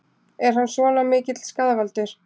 Er hann svona mikill skaðvaldur?